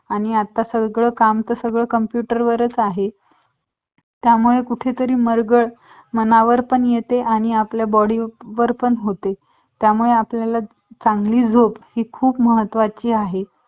आणी आता सगळं काम computer वरच आहे त्यामुळे कुठेतरी मलजल मनावर पण येते आणी आपल्या body पण होते त्यामुळे आपल्याला चांगली झोपही खूप महत्वाची आहे